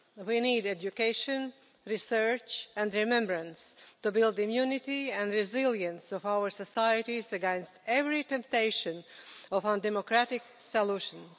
We need education, research and remembrance to build immunity and resilience in our societies against every temptation of undemocratic solutions.